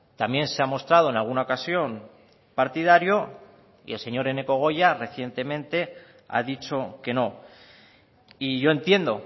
también se ha mostrado en alguna ocasión partidario y el señor eneko goya recientemente ha dicho que no y yo entiendo